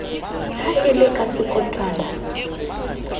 ha e le ka sekotwana